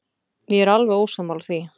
Ég er alveg ósammála því.